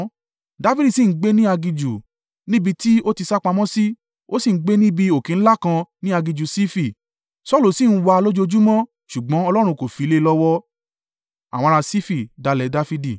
Dafidi sì ń gbé ní aginjù, níbi tí ó ti sá pamọ́ sí, ó sì ń gbé níbi òkè ńlá kan ní aginjù Sifi. Saulu sì ń wá a lójoojúmọ́, ṣùgbọ́n Ọlọ́run kò fi lé e lọ́wọ́.